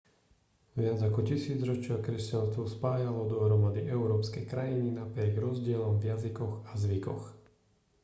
viac ako tisícročia kresťanstvo spájalo dohromady európske krajiny napriek rozdielom v jazykoch a zvykoch